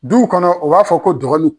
Duw kɔnɔ u b'a fɔ ko dɔgɔninw.